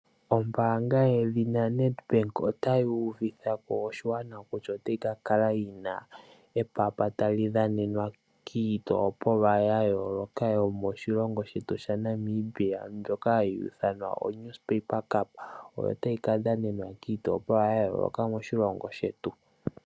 Ombanga yedhina Nedbank otayi uvithako oshigwana kutya otayi ka kala yina epapa tali dhanenwa kiitopolwa yayoloka yomoshilongo shetu shaNamibia. Mbyoka hayi ithanwa oNewspaper Cup otayi ka dhanenwa kiitopolwa yayoloka yomoshilongo shetu.